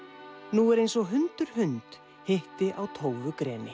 nú er eins og hundur hund hitti á